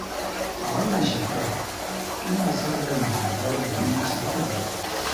A wannan shekarar ina sa ran girbar buhun masara biyar